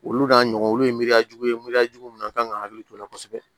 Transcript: Olu n'a ɲɔgɔn olu ye miiriya jugu ye miriyajugu min kan ka hakili t'o la kosɛbɛ